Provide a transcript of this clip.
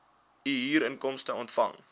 u huurinkomste ontvang